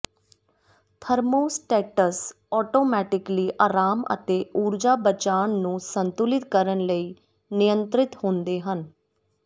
thermostats automatically ਅਰਾਮ ਅਤੇ ਊਰਜਾ ਬਚਾਵ ਨੂੰ ਸੰਤੁਲਿਤ ਕਰਨ ਲਈ ਨਿਯੰਤਰਿਤ ਹੁੰਦੇ ਹਨ